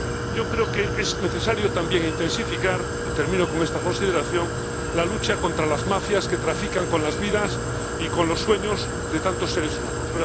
Yo creo que es necesario también intensificar y termino con esta consideración la lucha contra las mafias que trafican con las vidas y con los sueños de tantos seres humanos.